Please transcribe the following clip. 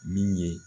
Min ye